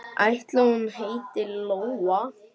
Ætli hún heiti Lóa?